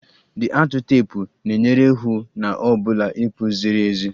The atụ teepu na-enyere hụ na ọ bụla ịkpụ ziri ezi